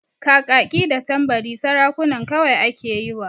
Kakaki da Tambari sarukan kawai ake yiwa.